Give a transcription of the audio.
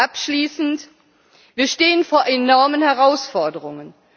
Abschließend Wir stehen vor enormen Herausforderungen.